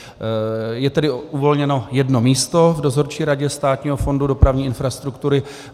Je tedy uvolněno jedno místo v Dozorčí radě Státního fondu dopravní infrastruktury.